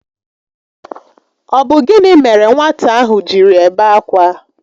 Ọ bụ gịnị mere nwata ahụ jiri ebe akwa?